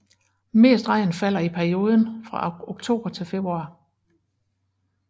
Mest regn falder i perioden fra oktober til februar